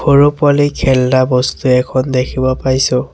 সৰু পোৱালীৰ খেলনা বস্তু এখন দেখিব পাইছোঁ।